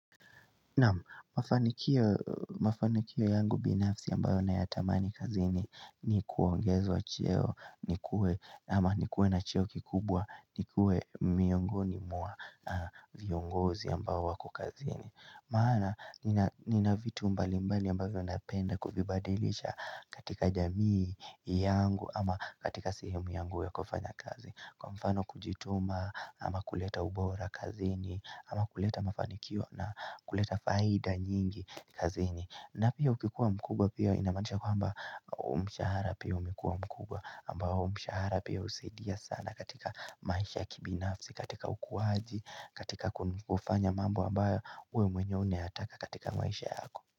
Naam mafanikio yangu binafsi ambayo na yatamani kazini ni kuongezwa cheo nikuwe na cheo kikubwa nikuwe miongoni mwa na viongozi ambayo wako kazini Maana nina vitu mbali mbali ambavyo napenda kuvibadilisha katika jamii yangu ama katika sehemu yangu ya kufanya kazi Kwa mfano kujituma ama kuleta ubora kazini ama kuleta mafanikio na kuleta faida nyingi kazini na pia ukikuwa mkubwa pia inamaanisha kwamba mshahara pia umekuwa mkubwa ambao mshahara pia husaidia sana katika maisha kibinafsi, katika ukuwaji, katika kufanya mambo ambayo we mwenyewe unayataka katika maisha yako.